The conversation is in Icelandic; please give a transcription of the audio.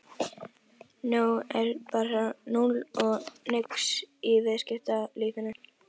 Nú er hann bara núll og nix í viðskiptalífinu!